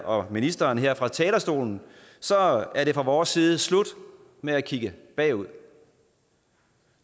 og ministeren her fra talerstolen er det fra vores side slut med at kigge bagud